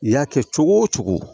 I y'a kɛ cogo o cogo